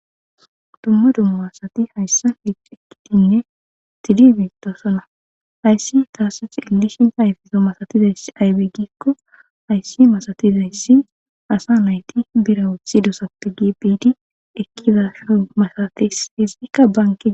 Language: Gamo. dumma dumma asati hayssa hix ekkitinne sidi biittosona hayssi taasuti illishina hayfezo masatizayss aybegikko hayssi masatizayssi asa nayti bira wuthi dosappe gi biidi ekkizasho masatis hizikka banqe